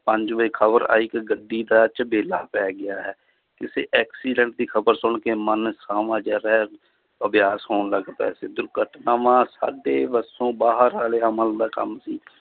ਪੰਜ ਵਜੇ ਖ਼ਬਰ ਆਈ ਕਿ ਗੱਡੀ ਦਾ ਝਬੇਲਾ ਪੈ ਗਿਆ ਹੈ ਕਿਸੇ accident ਦੀ ਖ਼ਬਰ ਸੁਣ ਕੇ ਮਨ ਜਿਹਾ ਰਹਿ ਗਿਆ ਸੌਣ ਲੱਗ ਪਿਆ ਸੀ, ਦੁਰਘਟਨਾਵਾਂ ਸਾਡੇ ਵੱਸੋਂ ਬਾਹਰ ਵਾਲੇ ਅਮਲ ਦਾ ਕੰਮ ਸੀ